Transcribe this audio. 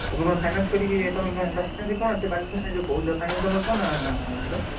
ତମେ କଣ finance କରିକି ତମେ ଯଉ କହୁଛ finance ତମର କଣ ଆଣିଥିଲ?